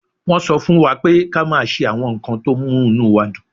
Wọ́n sọ fún wa pé ká máa ṣe àwọn nǹkan tó mú inú wa dùn